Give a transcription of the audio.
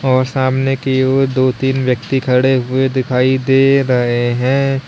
और सामने कि वो दो तीन व्यक्ति खड़े हुए दिखाई दे रहे हैं।